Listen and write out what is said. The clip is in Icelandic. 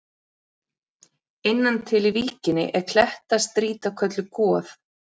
Innan til í víkinni er klettastrýta kölluð Goð.